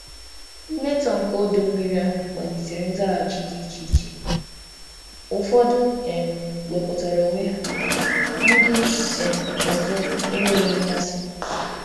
Mmetọ nke ọdọ mmiri ahụ kpalitere nzaghachi dị iche iche—ụfọdụ um wepụtara onwe ha, ndị um ọzọ enweghị mmasị.